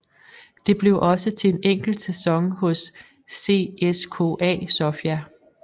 Det blev også til en enkelt sæson hos CSKA Sofia